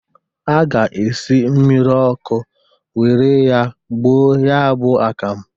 A ga-esi mmiri ọkụ were ya gboo ya bụ akam.